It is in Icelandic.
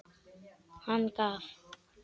Hann gaf